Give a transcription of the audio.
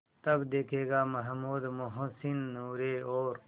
तब देखेगा महमूद मोहसिन नूरे और